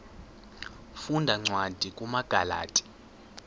funda cwadi kumagalati